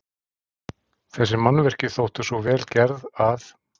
Þessi mannvirki þóttu svo vel gerð, að